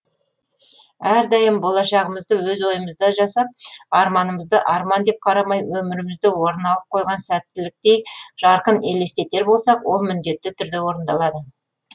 әрдайым болашағымызды өз ойымызда жасап арманымызды арман деп қарамай өмірімізде орын алып қойған сәттіліктей жарқын елестетер болсақ ол міндетті түрде орындалады